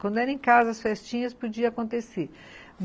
Quando era em casa, as festinhas podiam acontecer.